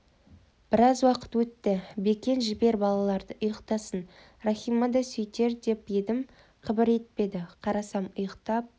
біраз уақыт өтті бекен жібер балаларды ұйықтасын рахима да сөйтер деп едім қыбыр етпеді қарасам ұйықтап